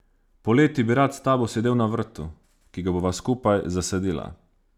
Poleti bi rad s tabo sedel na vrtu, ki ga bova skupaj zasadila.